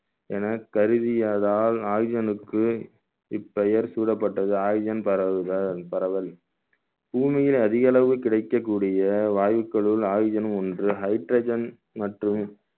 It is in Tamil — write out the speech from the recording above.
என கருதியதால் oxygen க்கு இப்பெயர் சூடப்பட்டது oxygen பரவுதல் பரவல் பூமியில் அதிக அளவு கிடைக்கக்கூடிய வாயுக்களில் oxygen னும் ஒன்று hydrogen மற்றும்